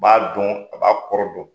A b'a dɔn a b'a kɔrɔ dɔn.